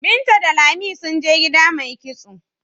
Binta da Lami sun je gida mai kitso.